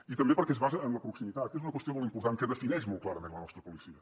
i també perquè es basa en la proximitat que és una qüestió molt important que defineix molt clarament la nostra policia